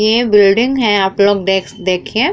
ये एक बिल्डिंग है आपलोग देख देखिये --